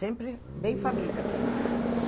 Sempre bem família mesmo.